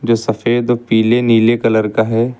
जो सफेद पीले नीले कलर का है।